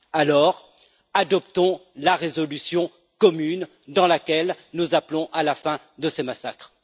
Alors, adoptons la résolution commune dans laquelle nous appelons à la fin de ces massacres.